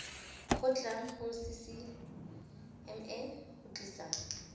kgotlang go ccma go tlisa